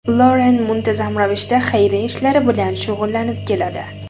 Loren muntazam ravishda xayriya ishlari bilan shug‘ullanib keladi.